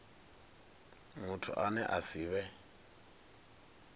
muthu ane a si vhe